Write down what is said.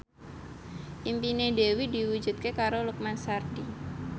impine Dewi diwujudke karo Lukman Sardi